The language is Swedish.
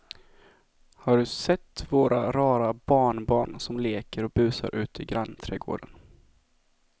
Har du sett våra rara barnbarn som leker och busar ute i grannträdgården!